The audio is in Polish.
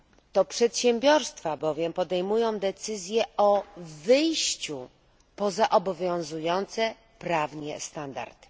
To przedsiębiorstwa bowiem podejmują decyzję o wyjściu poza obowiązujące prawnie standardy.